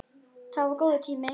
Það var góður tími.